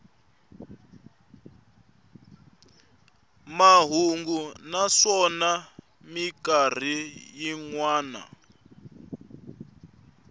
mahungu naswona mikarhi yin wana